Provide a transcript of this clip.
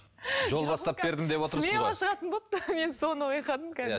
жол бастап бердім деп отырсыз шығатын болыпты мен соны байқадым